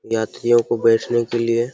यात्रियों को बैठने के लिए --